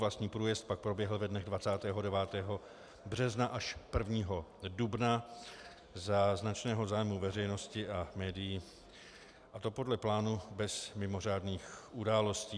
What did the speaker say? Vlastní průjezd pak proběhl ve dnech 29. března až 1. dubna za značného zájmu veřejnosti a médií, a to podle plánu, bez mimořádných událostí.